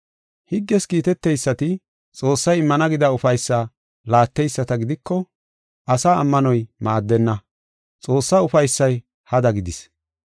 Higges kiitetidaysati Xoossay immana gida ufaysa laateyisata gidiko, asaa ammanoy maaddenna; Xoossaa ufaysay hada gidis.